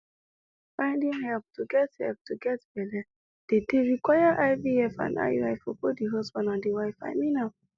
finding help to get help to get belle dey dey require ivf and iui for both the husband and the wife i mean am